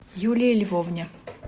юлии львовне